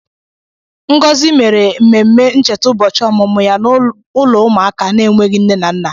Ngọzi mere ememme ncheta ụbọchị ọmụmụ ya n'ụlọ ụmụaka na-enweghị nne na nna.